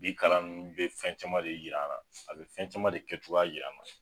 Bi kalan nunnu bɛ fɛn caman de yira an na, a bi fɛn caman de kɛ cogoya yir'an na.